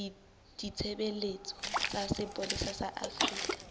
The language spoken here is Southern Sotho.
ditshebeletso tsa sepolesa sa afrika